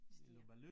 Stiger